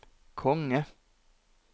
konge